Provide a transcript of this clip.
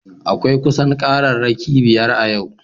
Akwai kusan kararraki biyar a yau